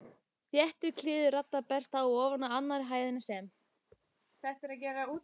Þéttur kliður radda berst ofan af annarri hæðinni, sem